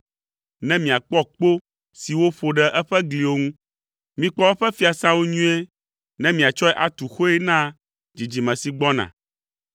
ne miakpɔ kpo si woƒo ɖe eƒe gliwo ŋu. Mikpɔ eƒe fiasãwo nyuie ne míatsɔe atu xoe na dzidzime si gbɔna,